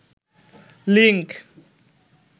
link